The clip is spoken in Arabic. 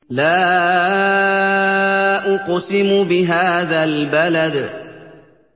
لَا أُقْسِمُ بِهَٰذَا الْبَلَدِ